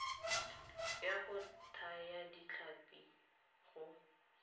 ya go thaya ditlhapi go